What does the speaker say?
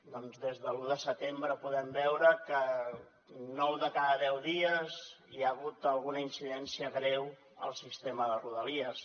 doncs des de l’un de setembre podem veure que nou de cada deu dies hi ha hagut alguna incidència greu al sistema de rodalies